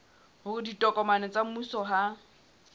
hore ditokomane tsa mmuso ha